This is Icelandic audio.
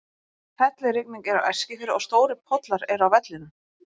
Hellirigning er á Eskifirði og stórir pollar eru á vellinum.